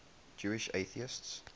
jewish atheists